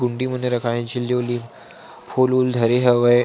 कुण्डी मन रखाय हे झिल्ली विल्ली फूल उल धरे हवे ।--